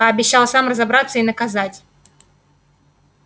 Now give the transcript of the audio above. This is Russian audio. пообещал сам разобраться и наказать